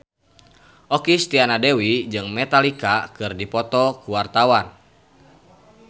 Okky Setiana Dewi jeung Metallica keur dipoto ku wartawan